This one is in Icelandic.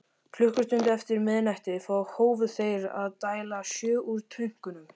Klukkustund eftir miðnætti hófu þeir að dæla sjó úr tönkunum.